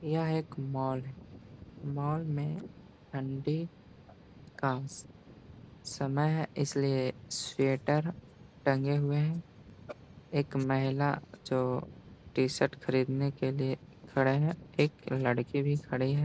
यह एक मोल है। मोल में ठंडी का समय है इसलिए स्वेटर टंगे हुए हैं। एक महिला जो टी शर्ट खरीदने के लिए खड़े है। एक लडकी भी खड़ी है।